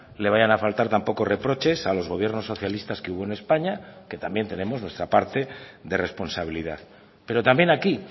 le vayan a faltar tampoco reproches a los gobiernos socialistas que hubo en españa que también tenemos nuestra parte de responsabilidad pero también aquí